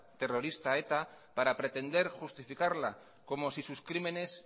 terrorista eta para pretender justificarla como si sus crímenes